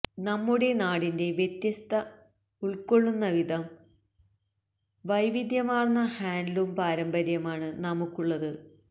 നമ്മുടെ നാടിന്റെ വ്യത്യസ്ത ഉൾക്കൊളളുന്ന വിധം വൈവിധ്യമാർന്ന ഹാൻഡ്ലൂം പാരമ്പര്യമാണ് നമുക്കുള്ളത്